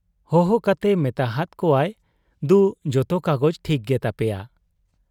ᱦᱚᱦᱚ ᱠᱟᱛᱮ ᱢᱮᱛᱟ ᱦᱟᱫ ᱠᱚᱣᱟᱭ ᱫᱩ, ᱡᱚᱛᱚ ᱠᱟᱜᱚᱡᱽ ᱴᱷᱤᱠ ᱜᱮ ᱛᱟᱯᱮᱭᱟ ᱾